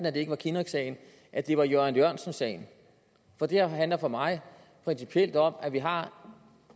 at det ikke var kinnocksagen at det var jørgen jørgensen sagen for det her handler for mig principielt om at vi har